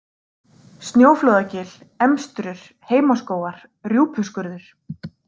Snjóflóðagil, Emstrur, Heimaskógar, Rjúpuskurður